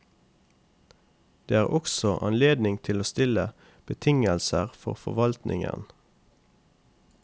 Og det er også anledning til å stille betingelser for forvaltningen.